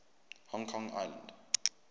hong kong island